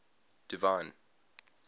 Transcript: divine